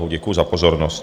Děkuji za pozornost.